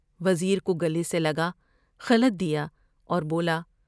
وزیر کو گلے سے لگا ، طلعت دیا اور بولا ۔